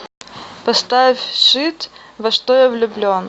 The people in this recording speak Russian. поставь шит во что я влюблен